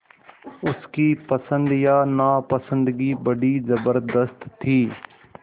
उसकी पसंद या नापसंदगी बड़ी ज़बरदस्त थी